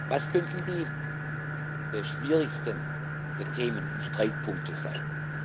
Was könnten die schwierigsten Themen und Streitpunkte sein?